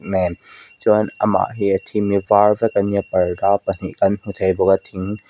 nen chuan amah hi a theme hi a var vek ania parda pahnih kan hmu thei bawk a thing--